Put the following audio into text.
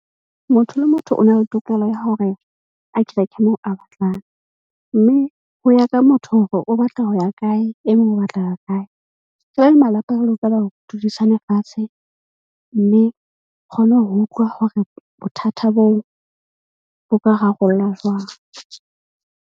Motho le motho o na le tokelo ya hore a kereke moo a batlang. Mme ho ya ka motho hore o batla ho ya kae. E mong o batla ho ya kae. Re le malapa, re lokela ho dudisane fatshe. Mme kgone ho utlwa hore bothata boo bo ka rarollwa jwang.